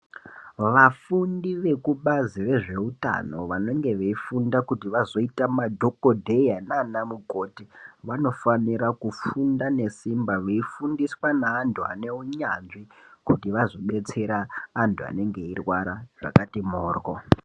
Vafundi vekubazi rezveutano vanenge veifunda kuti vazoita madhogodheya nanamukoti, vanofanira kufunda nesimba veifundiswa nevantu vaneunyanzvi kuti vazodetsera, antu anenge eirwara zvakati mhoryo.